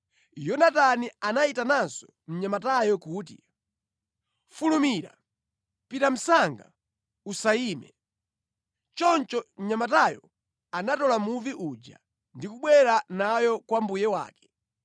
Yonatani anayitananso mnyamatayo kuti, “Fulumira, pita msanga usayime.” Choncho mnyamatayo anatola muvi uja ndi kubwera nayo kwa mbuye wake.